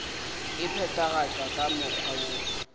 e phethagatšwa ka mokgwa woo